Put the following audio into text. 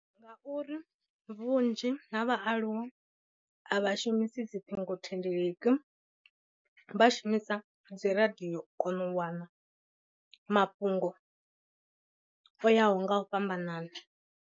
Ngauri vhunzhi ha vhaaluwa a vha shumisi dziṱhingo thendeleki vha shumisa dziradio u kona u wana mafhungo o yaho nga u fhambanana.